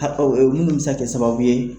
minnu bi se ka kɛ sababu ye.